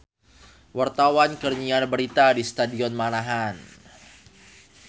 Wartawan keur nyiar berita di Stadion Manahan